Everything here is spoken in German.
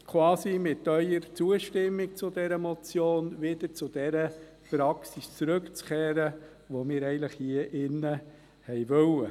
Ich bitte Sie, mit Ihrer Zustimmung zu dieser Motion quasi wieder zu jener Praxis zurückzukehren, die wir eigentlich hier im Rat wollten.